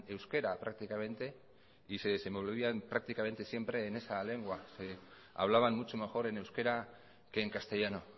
euskera prácticamente y se desenvolvían prácticamente siempre en esa lengua que hablaban mucho mejor en euskera que en castellano